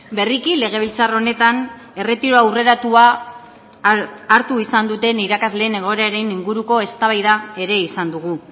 berriki legebiltzar honetan erretiro aurreratua hartu izan duten irakasleen egoeraren inguruko eztabaida ere izan dugu